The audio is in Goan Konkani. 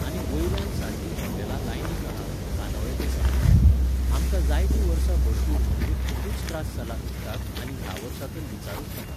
आनी वयल्यान सारकीं हॉटेलां लायनीक आसा, कानोळे ते सायडिक. आमकां जायतीं वर्सां भरपूर म्हणजे खूपूच त्रास जाला उदकाक आनी ह्या वर्सा तर विचारूच नाका